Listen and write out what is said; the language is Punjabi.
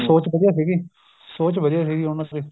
ਸੋਚ ਵਧੀਆ ਸੀਗੀ ਸੋਚ ਵਧੀਆ ਸੀਗੀ ਉਹਨਾ ਚ ਵੀ